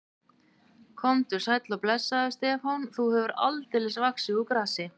Komdu sæll og blessaður, Stefán, þú hefur aldeilis vaxið úr grasi.